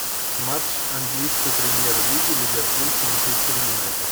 матч английской премьер лиги ливерпуль с манчестер юнайтед